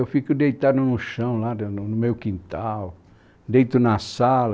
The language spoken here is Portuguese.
Eu fico deitado no chão lá, do, no meu quintal, deito na sala,